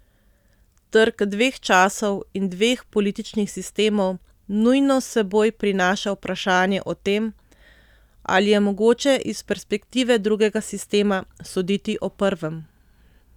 Trk dveh časov in dveh političnih sistemov nujno s seboj prinaša vprašanje o tem, ali je mogoče iz perspektive drugega sistema soditi o prvem.